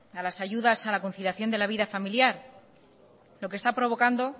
a las ayudas de la conciliación de la vida familiar lo que está provocando